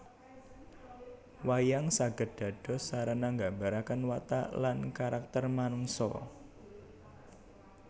Wayang saged dados sarana nggambaraken watak lan karakter manungsa